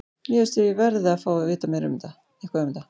Mér finnst ég verði að fá að vita eitthvað um það.